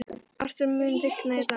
Arthúr, mun rigna í dag?